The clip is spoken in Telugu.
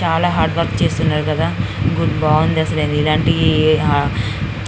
చాల హార్డ వర్క్ చేస్తున్నారు కదా గుడి బాగుంది అసలు ఇలాంటి --